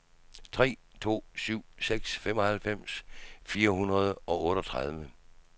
tre to syv seks femoghalvfems fire hundrede og otteogtredive